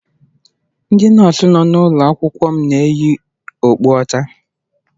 Ndị nọọsụ nọ n'ụlọ akwụkwọ m na-eyi okpu ọcha.